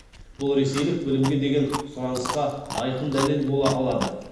бұл ресейлік білімге деген сұранысқа айқын дәлел бола алады